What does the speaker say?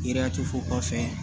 Yiriatɛfu kɔfɛ